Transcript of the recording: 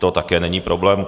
To taky není problém.